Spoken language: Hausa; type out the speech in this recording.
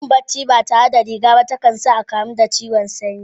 Yin barci ba tare da riga a jiki ba, ta kan sa a kamu da ciwon sanyi.